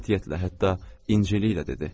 O, qətiyyətlə hətta incəliklə dedi.